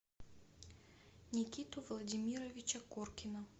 никиту владимировича коркина